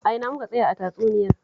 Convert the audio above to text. A ina muka tsaya a tatsuniyar?